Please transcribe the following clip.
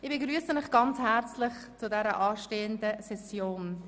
Ich begrüsse Sie ganz herzlich zur anstehenden Session.